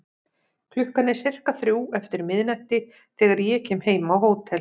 Klukkan er sirka þrjú eftir miðnætti þegar ég kem heim á hótel.